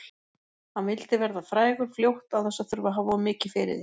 Hann vildi verða frægur fljótt án þess að þurfa að hafa of mikið fyrir því.